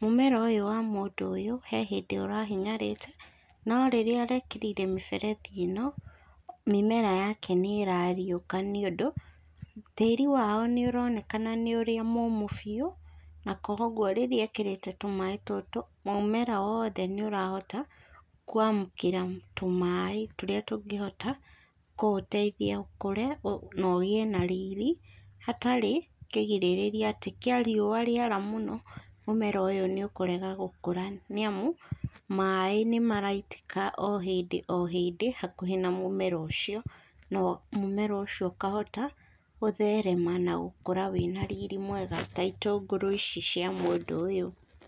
mũmera ũyũ wa mũndũ ũyũ harĩ hĩndĩ ũrahinyarĩte no rĩrĩa arekĩrire mĩberethi ĩno mĩmera yake nĩ ĩrariũka nĩ ũndũ, tĩri wao ni ũroneka nĩ ũria mũmũ biũ, na koguo rĩrĩa ekerete tũmaĩ tũtũ, mũmera wothe nĩ ũrahota kũamũkĩra tũmaĩ tũrĩa tũngĩhota kũũteithia ũkũre na ũgĩe na rĩrĩ hatarĩ kĩrigĩraria atĩ kia rĩũa rĩara mũno mũmera ũyũ nĩ ũkũrega gũkũra nĩamu maĩ nĩ maraitĩka ohĩndi ohĩndi hakuhĩ na mũmera ũcio, na mũmera ũcio ũkahota gũtherema na gũkũra wĩ na rĩrĩ mwega ta itũngũrũ ici cia mũndũ ũyũ.